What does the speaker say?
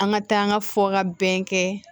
An ka taa an ka fɔ ka bɛn kɛ